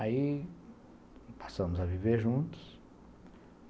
Aí passamos a viver juntos.